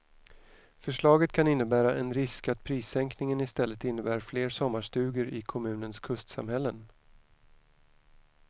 Förslaget kan innebära en risk att prissänkningen istället innebär fler sommarstugor i kommunens kustsamhällen.